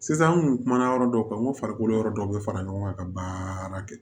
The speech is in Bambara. Sisan an kun kumana yɔrɔ dɔw kan n ko farikolo yɔrɔ dɔ bɛ fara ɲɔgɔn kan ka baara kɛ